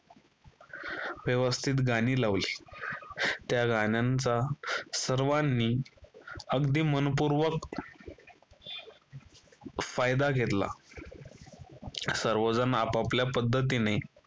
व्यवस्थित गाणी लावली. त्या गाण्यांचा सर्वांनी अगदी मनपूर्वक फायदा घेतला. सर्वजण आपापल्या पद्धतीने